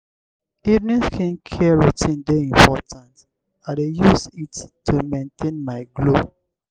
evening skincare routine dey important; i dey use it to maintain my glow.